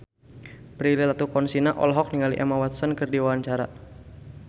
Prilly Latuconsina olohok ningali Emma Watson keur diwawancara